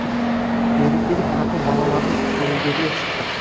мерекелік тарту балалардың көңілдерінен шықты